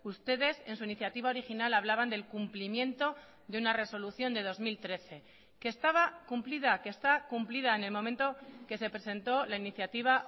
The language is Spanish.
ustedes en su iniciativa original hablaban del cumplimiento de una resolución de dos mil trece que estaba cumplida que está cumplida en el momento que se presentó la iniciativa